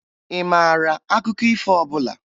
Ị maara akụkọ ifo ọbụla?